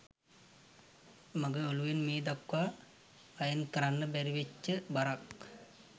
මගේ ඔලුවෙන් මේ දක්වා අයින් කරන්න බැරිවෙච්ච බරක්.